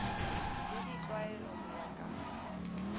le ditlwaelo ho ya ka